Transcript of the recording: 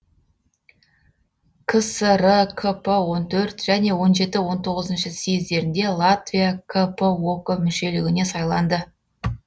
кср кп он төрт және он жеті он тоғызыншы съездерінде латвия кп ок мүшелігіне сайланды